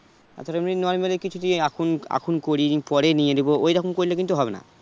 এতো দামি এখন এখন করিয়ে নিই পরে নিয়ে নেবো ওই রকম করলে কিন্তু হবে না